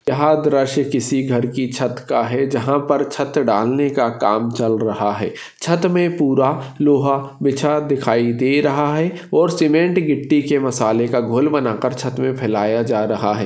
यह दृश्य किसी घर कि छत का है जहा पर छत डालने का काम चल रहा है छ्त मे पुरा लोहा बिछा दिखाइ दे रहा है और सीमेंट घिट्टी के मसाले का गोल बना कर छत मे फैलाया जा रहा हे।